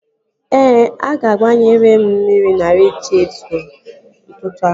Ee, a gbanyere m mmiri na radịetọ ahụ n'ụtụtụ a